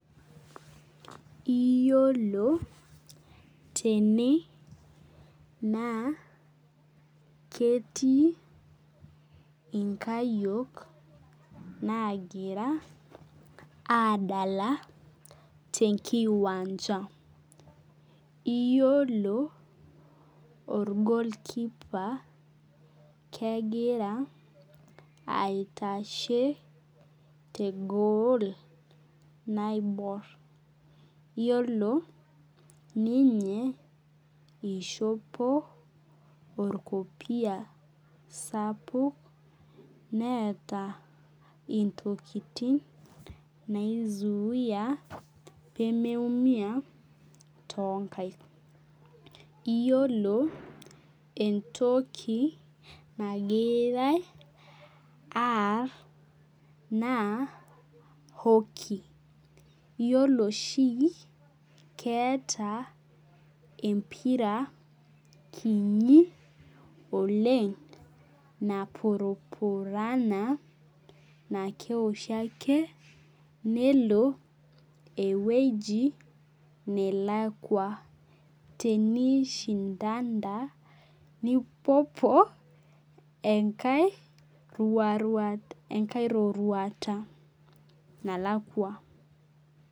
Iyiolo tene naa ketii inkayiok nagira adala tenkiwanjam iyiolo or goalkeeper kegira aitashe te goal naibor iyiolo ninye ishopi orkopia sapuk neeta intokin nai zuia pee mei umia toonkaik. Iyiolo entoki nagirai aar naa hockey. Iyiolo oshi keeta empira kinyi oleng napurupurani na keoshi ake nelo eweji nalakuo. Teni shinda da nipuopuo roruata nalakua.